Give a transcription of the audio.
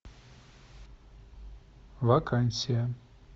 вакансия